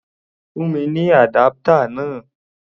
Fún mi ní adapter náà!